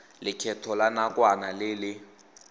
lekgetho la nakwana le le